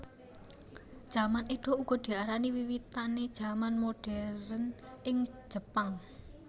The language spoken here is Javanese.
Jaman Édo uga diarani wiwitané jaman moderen ing Jepang